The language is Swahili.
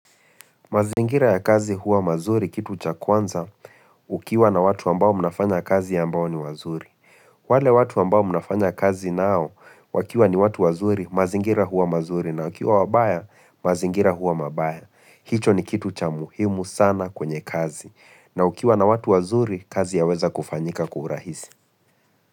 Mazingira ya kazi huwa mazuri kitu cha kwanza ukiwa na watu ambao mnafanya kazi ambao ni wazuri. Wale watu ambao mnafanya kazi nao wakiwa ni watu wazuri mazingira huwa mazuri na ukiwa wabaya mazingira huwa mabaya. Hicho ni kitu cha muhimu sana kwenye kazi na ukiwa na watu wazuri kazi ya weza kufanyika kwa urahisi.